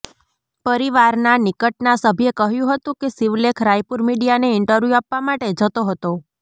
પરિવારના નિકટના સભ્યે કહ્યું હતું કે શિવલેખ રાયપુર મીડિયાને ઈન્ટરવ્યૂ આપવા માટે જતો હતો